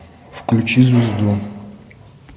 включи звезду